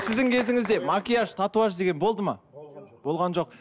сіздің кезіңізде макияж татуаж деген болды ма болған жоқ